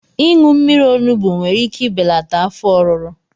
Ịṅụ mmiri onugbu nwere ike ibelata afọ ọruru